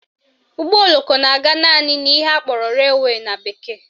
Ụgbọoloko na-aga naanị n'ihe akpọrọ railway na bekee